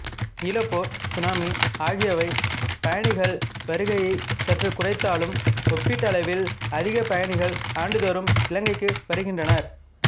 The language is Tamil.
ஈழப் போர் சுனாமி அகியவை பயணிகள் வருகையை சற்றுக் குறைத்தாலும் ஒப்பீட்டளவில் அதிக பயணிகள் ஆண்டுதோறும் இலங்கைக்கு வருகின்றனர்